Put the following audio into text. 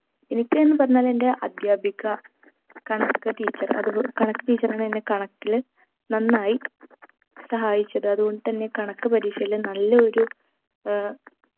എനിക്ക് എന്ന് പറഞ്ഞാൽ എന്റെ അദ്ധ്യാപിക കണക്ക് teacher അത്പോ കണക്ക് teacher ആണ് എന്നെ കണക്കില് നന്നായി സഹായിച്ചത് അതുകൊണ്ട് തന്നെ കണക്ക് പരീക്ഷയിൽ നല്ലയൊരു ഏർ